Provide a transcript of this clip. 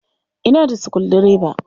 Ina da sukuldireba.